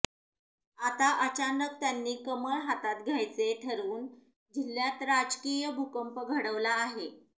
आता अचानक त्यांनी कमळ हातात घ्यायचे ठरवून जिल्ह्यात राजकीय भूकंप घडवला आहे